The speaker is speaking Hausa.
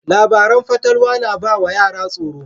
Labaran fatalwa na ba wa yara tsoro.